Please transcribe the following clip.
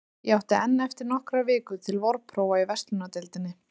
Ég átti enn eftir nokkrar vikur til vorprófa í verslunardeildinni.